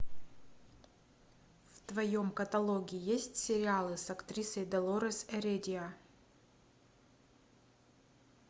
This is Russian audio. в твоем каталоге есть сериалы с актрисой долорес эредия